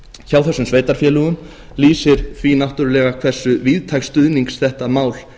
hjá þessum sveitarfélögum lýsir því náttúrlega hversu víðtæks stuðnings þetta mál